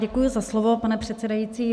Děkuji za slovo, pane předsedající.